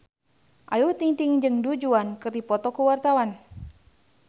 Ayu Ting-ting jeung Du Juan keur dipoto ku wartawan